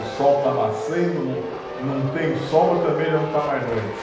O sol está nascendo, não não tem sol, mas também já não está mais noite.